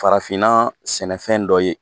Farafinna sɛnɛfɛn dɔ ye